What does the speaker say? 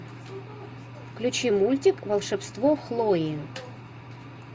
включи мультик волшебство хлои